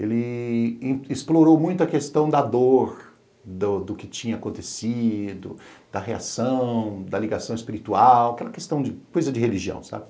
Ele explorou muito a questão da dor, do que tinha acontecido, da reação, da ligação espiritual, aquela questão de coisa de religião, sabe?